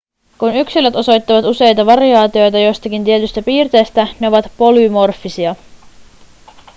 kun yksilöt osoittavat useita variaatioita jostakin tietystä piirteestä ne ovat polymorfisia